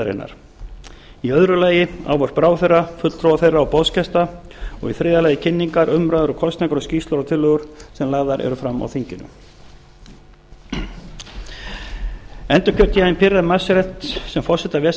ráðherrahliðarinnar í öðru lagi ávarp ráðherra fulltrúa þeirra og boðsgesta og í þriðja lagi kynningar umræður kosningar og skýrslur og tillögur sem lagðar eru fram á þinginu endurkjör sem forseta ves